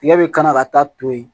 Tigɛ bi kana ka taa to yen